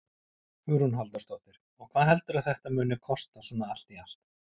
Hugrún Halldórsdóttir: Og hvað heldurðu að þetta muni kosta svona allt í allt?